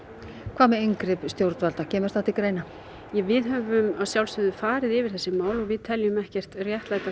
hvað með inngrip stjórnvalda kemur það til greina við höfum að sjálfsögðu farið yfir þessi mál og við teljum ekkert réttlæta